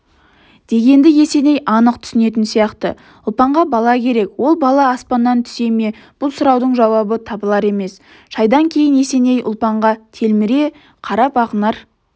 дегенді есеней анық түсінетін сияқты ұлпанға бала керек ол бала аспаннан түсе ме бұл сұраудың жауабы табылар емес шайдан кейін есеней ұлпанға телміре қарапақнар